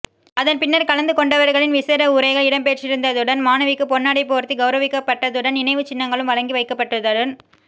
அதன் பின்னர் கலந்து கொண்டவர்களின் விசேட உரைகள் இடம்பெற்றிருந்ததுடன் மாணவிக்கு பொன்னாடை போர்த்தி கௌரவிக்கப்பட்டதுடன் நினைவுச்சின்னங்களும் வழங்கி வைக்கப்பட்டதுடன்